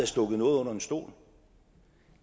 stukket noget under en stol